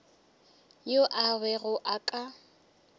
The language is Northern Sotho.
yo a bego a ka